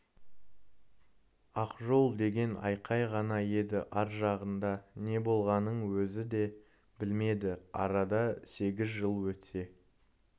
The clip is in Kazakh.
ақжол деген айқай ғана еді ар жағында не болғанын өзі де білмеді арада сегіз жыл өтсе